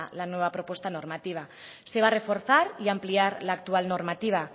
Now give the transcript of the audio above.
la nueva propuesta normativa se va a reforzar y ampliar la actual normativa